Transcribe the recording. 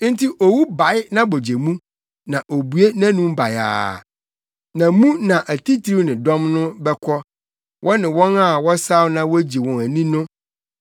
Enti Owu bae nʼabogye mu na obue nʼanom bayaa; na mu na atitiriw ne dɔm no bɛkɔ wɔne wɔn a wɔsaw na wogye wɔn ani no.